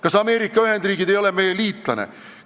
Kas Ameerika Ühendriigid ei ole meie liitlane?